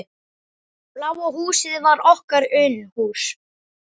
Bláa húsið var okkar Unuhús.